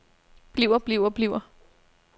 bliver bliver bliver